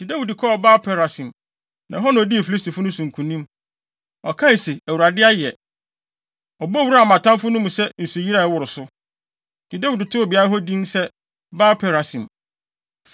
Enti Dawid kɔɔ Baal-Perasim, na ɛhɔ na odii Filistifo no so nkonim. Ɔkae se, “ Awurade ayɛ! Ɔbɔ wuraa mʼatamfo no mu sɛ nsuyiri a ɛworo so!” Enti Dawid too beae hɔ din se Baal-Perasim.